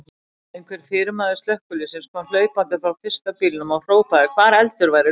Einhver fyrirmaður slökkviliðsins kom hlaupandi frá fyrsta bílnum og hrópaði hvar eldur væri laus.